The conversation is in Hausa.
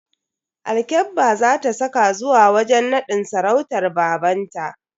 Alkyabba za ta saka zuwa wajen nadin sarautar babanta.